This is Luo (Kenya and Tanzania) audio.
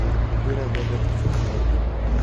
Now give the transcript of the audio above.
biro bedo tich matek